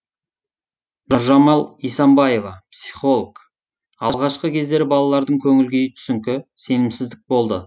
нұржамал исамбаева психолог алғашқы кездері балалардың көңіл күйі түсіңкі сенімсіздік болды